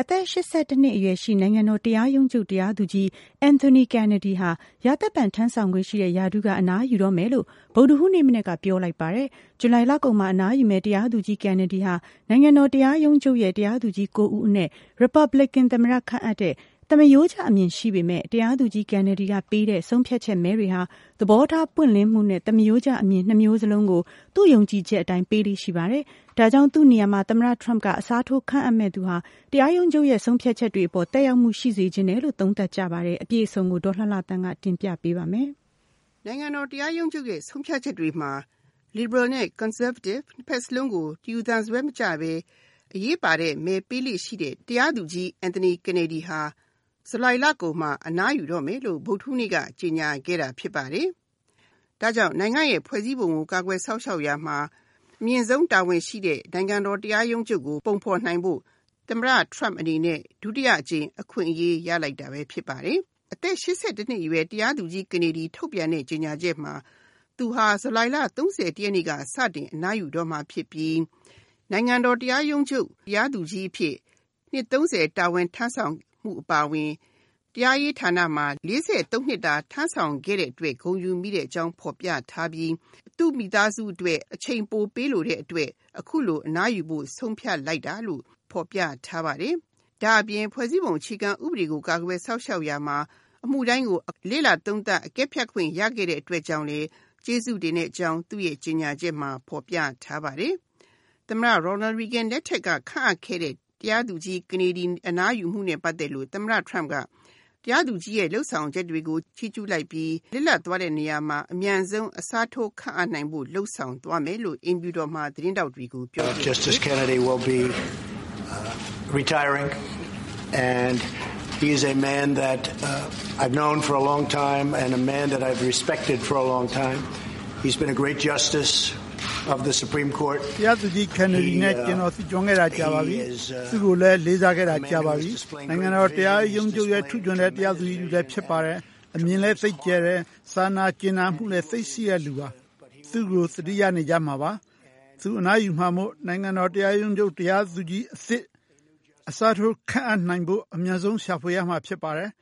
အသက်(၈၁)နှစ်အရွယ်ရှိ နိုင်ငံတော်တရားရုံးချုပ် တရားသူကြီး Anthony McLeod Kennedy ဟာ ရာသက်ပန် ထမ်းဆောင်ခွင့်ရှိတဲ့ ရာထူးက အနားယူတော့မယ်လို့ ဗုဒ္ဓဟူးနေ့မနက်က ပြောလိုက်ပါတယ်။ ဇူလိုင်လကုန်မှာ အနားယူမယ့် တရားသူကြီး Kennedy ဟာ နိုင်ငံတော်တရားရုံးချုပ်ရဲ့ တရားသူကြီး(၉)ဦးအနက် Republican သမ္မတခန့်အပ်တဲ့ သမရိုးကျအမြင် ရှိသူဖြစ်ပေမယ့်၊ တရားသူကြီး Kennedy ကပေးတဲ့ ဆုံးဖြတ်ချက်မဲတွေဟာ သဘောထားပွင့်လင်းမှုနဲ့ သမရိုးကျအမြင် နှစ်မျိုးစလုံးကို သူ့ယုံကြည်ချက်အတိုင်း ပေးလေ့ ရှိပါတယ်။ ဒါကြောင့် သူ့နေရာမှာ သမ္မတထရမ့်က အစားထိုး ခန့်အပ်မယ့်သူဟာ တရားရုံးချုပ်ရဲ့ ဆုံးဖြတ်ချက်တွေအပေါ် သက်ရောက်မှု ရှိစေချင်တယ်လို့ သုံးသပ်ကြပါတယ်။ အပြည့်အစုံကို ဒေါ်လှလှသန်းက တင်ပြထားပါတယ်။ နိုင်ငံတော်တရားရုံးချုပ်ရဲ့ ဆုံးဖြတ်ချက်တွေမှာ လစ်ဘရယ်နဲ့ ကွန်ဆာဗေးတစ် နှစ်ဖက်စလုံးကို တယူသန်စွဲ မကျပဲ အရေးပါတဲ့မဲပေးလေ့ ရှိတဲ့ တရားသူကြီး Anthony Kennedy ဟာ ဂျူလိုင်လကုန်မှာ အနားယူတော့မယ်လို့ ဗုဒ္ဓဟူးနေ့က ကြေညာခဲ့တာဖြစ်ပါတယ်။ ဒါ့ကြောင့် နိုင်ငံ့ရဲ့ဖွဲ့စည်းပုံကို ကာကွယ်စောင့်ရှောက်ရာမှာ အမြင့်ဆုံးတာဝန်ရှိတဲ့ နိုင်ငံတော် တရားရုံးချုပ်ကို ပုံဖေါ်နိုင်ဖို့ သမ္မတထရမ့်အနေနဲ့ ဒုတိယအကြိမ် အခွင့်အရေး ရလိုက်တာပဲဖြစ်ပါတယ်။ အသက် (၈၁)နှစ်အရွယ် တရားသူကြီး Kennedy ထုတ်ပြန်တဲ့ ကြေညာချက်မှာ သူဟာ ဇူလိုင်လ(၃၁)ရက်နေ့က စတင်အနားယူတော့မှာဖြစ်ပြီး နိုင်ငံတော်တရားရုံးချုပ် တရားသူကြီးအဖြစ် နှစ်(၃၀)တာဝန်ထမ်းဆောင်မှု အပါအဝင် တရားရေးဌာနမှာ (၄၃)နှစ်တာ တာဝန်ထမ်းခဲ့တဲ့အတွက် ဂုဏ်ယူမိကြောင်း ဖေါ်ပြထားပြီး သူ့မိသားစုအတွက် အချိန်ပိုပေးချင်တဲ့ အတွက် အခုလို အနားယူဖို့ ဆုံးဖြတ်လိုက်တာလို့ ဖေါ်ပြထားပါတယ်။ ဒါ့အပြင် ဖွဲ့စည်းပုံအခြေခံဥပဒေကို ကာကွယ်စောင့်ရှောက်ရာမှာ အမှုတိုင်းကို လေ့လာသုံးသပ် အကဲဖြတ်ခွင့် ရခဲ့တဲ့အတွက်ကြောင့်လည်း ကျေးဇူးတင်ကြောင်း သူ့ကြေညာချက်မှာ ဖေါ်ပြထားပါတယ်။ သမ္မတ Ronald Reagan လက်ထက်က ခန့်အပ်ခဲ့တဲ့ တရားသူကြီး Kennedy အနားယူမှုနဲ့ ပတ်သက်လို့ သမ္မတထရမ့်က တရားသူကြီးရဲ့ လုပ်ဆောင်ချက်တွေကို ချီးကျူးလိုက်ပြီး လစ်လပ်သွားတဲ့နေရာမှာ အမြန်ဆုံး အစားထိုးခန့်အပ်နိုင်ဖို့ လုပ်ဆောင်သွားမယ်လို့ အိမ်ဖြူတော်မှာ သတင်းထောက်တွေကို ပြောကြားခဲ့ပါတယ်။ “ တရားသူကြီး Kennedy နဲ့ ကျွန်တော် သိကျွမ်းခဲ့တာ ကြာပါပြီ။ သူ့ကိုလည်း လေးစားခဲ့တာ ကြာပါပြီ။ နိုင်ငံတော် တရားရုံးချုပ်ရဲ့ ထူးချွန်တဲ့ တရားသူကြီး တဦးလည်း ဖြစ်ပါတယ်။ အမြင်လည်း သိပ်ကျယ်တယ်။ စာနာ ကြင်နာမှုလည်း သိပ်ရှိတဲ့ သူပါ။ သူ့ကို သတိရနေကြမှာပါ။ သူအနားယူမှာမို့ နိုင်ငံတော် တရားရုံးချုပ် တရားသူကြီးအသစ် အစားထိုး ခန့်အပ်နိုင်ဖို့ အမြန်ဆုံး ရှာဖွေရမှာ ဖြစ်ပါတယ်။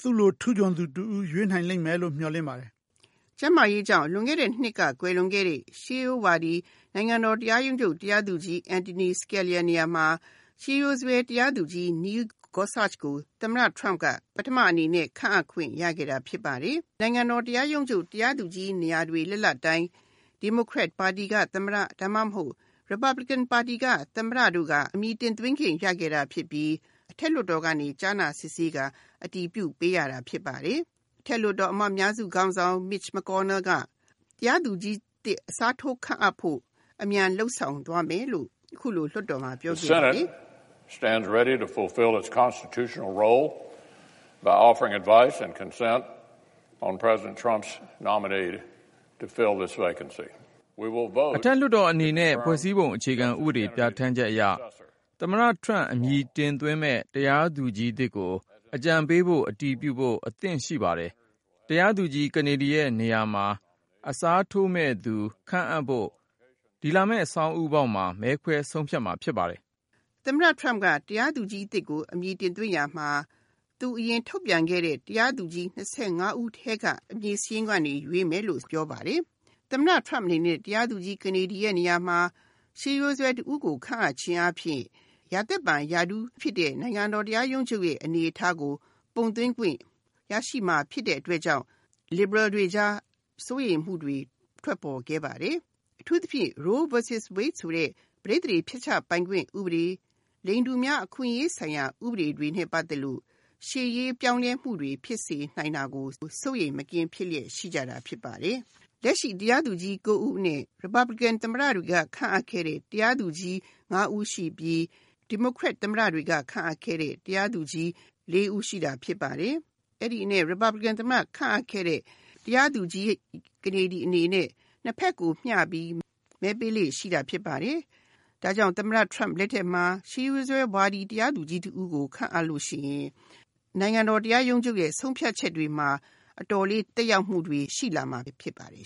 သူ့လို ထူးချွန်သူ တဦး ရွေးနိုင်လိမ့်မယ်လို့ မျှော်လင့်ပါတယ်။ ” ကျန်းမာရေးကြောင့် လွန်ခဲ့တဲ့နှစ်က ကွယ်လွန်ခဲ့တဲ့ ရှေးရိုးဝါဒီ နိုင်ငံတော် တရားရုံးချုပ် တရားသူကြီး Antonin Scalia နေရာမှာ ရှေးရိုးစွဲ တရားသူကြီး Neil Gorsuch ကို သမ္မတ Trump က ပထမအနေနဲ့ ခန့်အပ်ခွင့် ရခဲ့တာ ဖြစ်ပါတယ်။ နိုင်ငံတော် တရားရုံးချုပ် တရားသူကြီး နေရာတွေ လစ်လပ်တိုင်း ဒီမိုကရက်ပါတီက သမ္မတ ဒါမှမဟုတ် ရီပတ်ဘလစ်ကင် ပါတီက သမ္မတတို့က အမည်တင်သွင်း ခဲ့ကြတာ ဖြစ်ပြီး အထက်လွှတ်တော်က ကြားနာစစ်ဆေးကာ အတည်ပြု ပေးရတာဖြစ်ပါတယ်။ အထက်လွှတ်တော် အမတ်အများစု ခေါင်းဆောင် Mitch McConnell က တရားသူကြီးအသစ် အစားထိုး ခန့်အပ်ဖို့ အမြန်လုပ်ဆောင် သွားမယ်လို့ အခုလိုလွှတ်တော်မှာ ပြောဆိုပါတယ်။ “ အထက်လွှတ်တော် အနေနဲ့ ဖွဲ့စည်းပုံအခြေခံဥပဒေ ပြဌာန်းချက်အရ သမ္မတ Trump အမည်တင်သွင်းမယ့် တရားသူကြီးသစ်ကို အကြံပေးဖို့ အတည်ပြုဖို့ အသင့်ရှိပါတယ်။ တရားသူကြီး Kennedy ရဲ့ နေရာမှာ အစားထိုးမယ့်သူ ခန့်အပ်ဖို့ ဒီလာမယ့် ဆောင်းဦးပေါက်မှာ မဲခွဲ ဆုံးဖြတ်မှာ ဖြစ်ပါတယ်။ ” သမ္မတ Trump က တရားသူကြီး အသစ်ကို အမည်တင်သွင်းရာမှာ သူအရင် ထုတ်ပြန်ခဲ့တဲ့ တရားသူကြီး ၂၅ ဦး ထဲက အမည်စာရင်းကနေ ရွေးမယ်လို့ ပြောပါတယ်။ သမ္မတ Trump အနေနဲ့ တရားသူကြီး ကနေဒီရဲ့ နေရာမှာ ရှေးရိုးစွဲ တဦးကို ခန့်အပ်ခြင်းအားဖြင့် ရာသက်ပန်ရာထူး ဖြစ်တဲ့ နိုင်ငံတော် တရားရုံးချုပ်ရဲ့ အနေအထားကို ပုံသွင်းခွင့် ရရှိမှာ ဖြစ်တဲ့ အတွက်ကြောင့် လစ်ဘရယ်တွေ ကြား စိုးရိမ်မှုတွေ ထွက်ပေါ်ခဲ့ပါတယ်။ အထူူးသဖြင့် Roe vs Wade ဆိုတဲ့ ပဋိသန္ဓေ ဖျက်ချပိုင်ခွင့် ဥပဒေ၊ လိင်တူများ အခွင့်အရေး ဆိုင်ရာ ဥပဒေတွေနဲ့ ပတ်သက်လို့ ရှေ့ရေး ပြောင်းလဲမှုတွေ ဖြစ်စေနိုင်တာကို စိုးရိမ်မကင်း ဖြစ်နေကြတာ ဖြစ်ပါတယ်။ လက်ရှိတရားသူကြီး ၉ ဦးအနက် ရီပတ်ဘလစ်ကင်သမ္မတတွေက ခန့်အပ်ခဲ့တဲ့ တရားသူကြီး ၅ ဦးရှိပြီး ဒီမိုကရက်သမ္မတတွေက ခန့်အပ်ခဲ့တဲ့ တရားသူကြီး ၄ ဦး ရှိတာ ဖြစ်ပါတယ်။ အဲဒီအနက် ရီပတ်ဘလစ်ကင် သမ္မတ ခန့်အပ်ခဲ့တဲ့ တရားသူကြီး ကနေဒီ အနေနဲ့ ၂ ဖက်ကို မျှပြီး မဲပေးလေ့ ရှိတာ ဖြစ်ပါတယ်။ ဒါကြောင့် သမ္မတ Trump လက်ထက်မှာ ရှေးရိုးစွဲဝါဒီ တရားသူကြီး တဦးကို ခန့်အပ်လို့ ရှိရင် နိုင်ငံတော် တရားရုံးချုပ်ရဲ့ ဆုံးဖြတ်ချက်တွေမှာ အတော်လေး သက်ရောက်မှုတွေ ရှိလာနိုင်မှာ ဖြစ်ပါတယ်